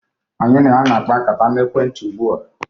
Anyị na ya na-akpa nkata na ekwentị ugbu a.